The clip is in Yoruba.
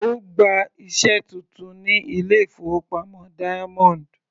Ó gba iṣẹ́ titun ní ilé-ìfowópamọ́ Diamond.